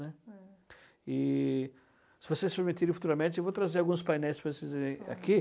né. É. Se vocês permitirem, futuramente, eu vou trazer alguns painéis para vocês verem aqui.